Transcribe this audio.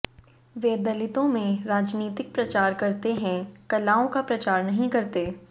वे दलितों में राजनीतिक प्रचार करते हैं कलाओं का प्रचार नहीं करते